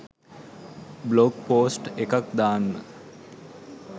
blog post එකක් දාන්න